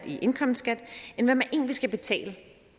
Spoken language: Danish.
i indkomstskat end hvad man egentlig skal betale